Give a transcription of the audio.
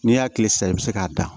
N'i y'a tile san i bɛ se k'a da